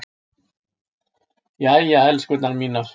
Jæja, elskurnar mínar.